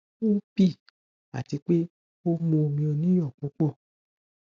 ó bì í àti pé ó mu omi oníyọ púpọ